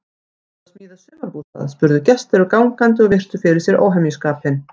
Ertu að smíða sumarbústað? spurðu gestir og gangandi og virtu fyrir sér óhemjuskapinn.